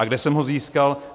A kde jsem ho získal?